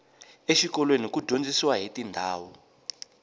exikolweni ku dyondziwa hiti ndhawu